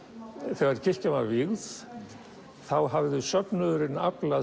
þegar kirkjan var vígð þá hafði söfnuðurinn aflað